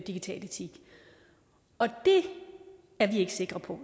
digital etik det er vi ikke sikre på